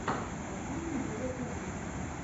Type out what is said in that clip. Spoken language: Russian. последний эпизод нетфликса